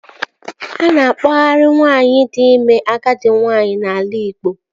A na-akpọarị nwaanyị di ime agadi nwaanyị n'ala Igbo